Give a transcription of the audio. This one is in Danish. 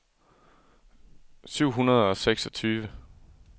syv hundrede og seksogtyve